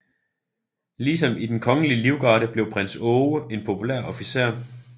Ligesom i Den Kongelige Livgarde blev prins Aage en populær officer